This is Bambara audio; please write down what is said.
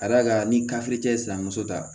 Ka d'a kan ni ye sinamuso ta